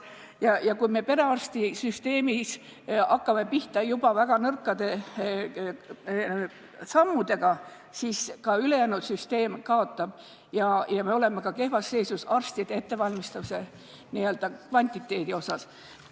Kui me hakkame perearstisüsteemis pihta väga nõrkade sammudega, siis kaotab ka ülejäänud süsteem ning me oleme kehvas seisus ka arstide ettevalmistuse kvantiteedi mõttes.